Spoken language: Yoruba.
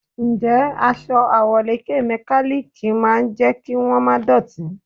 Ǹjẹ́ aṣọ àwọ̀lékè mẹkálíkì máa jẹ́ kí wón má dọ̀tí?